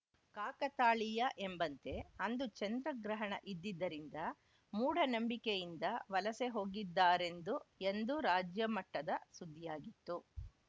ಕಾಕತಾಳೀಯ ಎಂಬಂತೆ ಅಂದು ಚಂದ್ರಗ್ರಹಣ ಇದ್ದಿದ್ದರಿಂದ ಮೂಡನಂಬಿಕೆಯಿಂದ ವಲಸೆ ಹೋಗಿದ್ದಾರೆಂದು ಎಂದು ರಾಜ್ಯ ಮಟ್ಟದ ಸುದ್ದಿಯಾಗಿತ್ತು